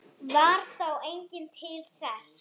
Varð þá enginn til þess.